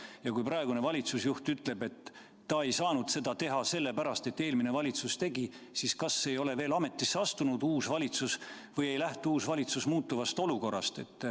Ja kui praegune valitsusjuht ütleb, et ta ei saanud seda teha sellepärast, et eelmine valitsus tegi, siis kas ei ole uus valitsus veel ametisse astunud või ei lähtu uus valitsus muutuvast olukorrast.